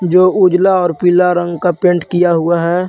जो उजला और पिला रंग का पेंट किया हुआ हैं।